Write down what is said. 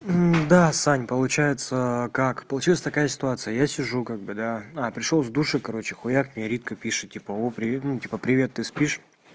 да сань получается как получилась такая ситуация я сижу как бы да а пришёл с душа короче хуяг мне ритка пишет типа о привет ну типа привет ты спишь